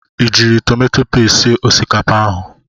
I jiiri tomato pesti sie osikapa ahụ?